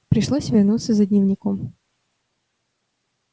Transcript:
пришлось вернуться за дневником